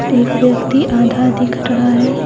एक व्यक्ति आधा दिख रहा है।